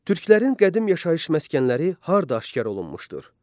Türklərin qədim yaşayış məskənləri harda aşkar olunmuşdur?